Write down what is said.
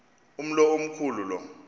umlo omkhu lu